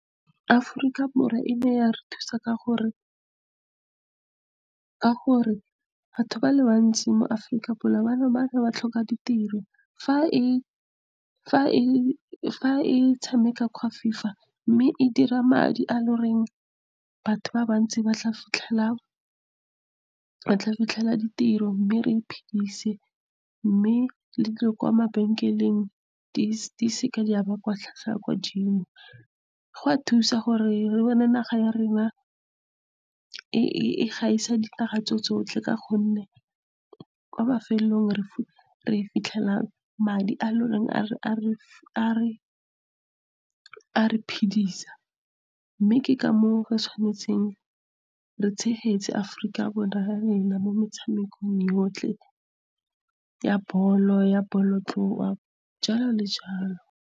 Aforika Borwa ene ya re thusa, ka gore batho ba le bantsi mo Aforika ba ne ba re ba tlhoka ditiro. fa e tshameka FIFA, mme e dira madi a e le goreng, batho ba bantsi ba tla fitlhela ditiro mme re iphedise. Mme le dilo kwa mabenkeleng di seke di a ba tlhwatlhwa e e kwa godimo. Gwa thusa gore re bone naga ya rena e gaisa dinaga tso tsotlhe, ka gonne kwa mafelelong re fitlhela madi a e le gore a re phidisa. Mme ke ka moo re tshwanetseng re tshegetse Aforika Borwa mo metshamekong yotlhe ya bolo ya bolo tloa jalo le jalo.